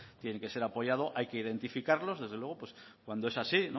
tiene que ser apoyado hay que identificarlos desde luego pues cuando es así